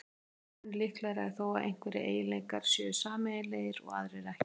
Mun líklegra er þó að einhverjir eiginleikar séu sameiginlegir og aðrir ekki.